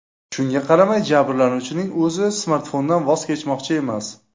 Shunga qaramay, jabrlanuvchining o‘zi smartfondan voz kechmoqchi emas.